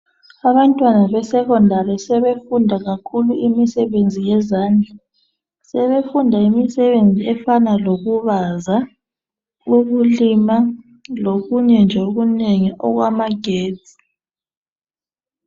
Abantwana besekhondali sebefunda kakhulu imisebenzi yezandla, sebefunda imisebenzi efana lokubaza, ukulima lokunye nje okunengi okufana lamagetsi.